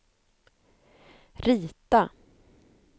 rita